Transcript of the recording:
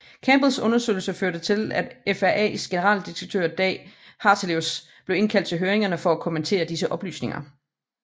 Campbells undersøgelser førte til at FRAs generaldirektør Dag Hartelius blev indkaldt til høringerne for at kommentere disse oplysninger